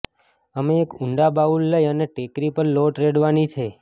અમે એક ઊંડા બાઉલ લઇ અને ટેકરી પર લોટ રેડવાની છે